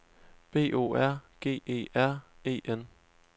B O R G E R E N